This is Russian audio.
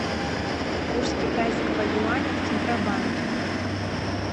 курс китайского юаня в центробанке